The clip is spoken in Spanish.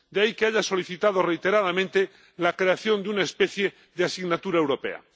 De ahí que haya solicitado reiteradamente la creación de una especie de asignatura europea.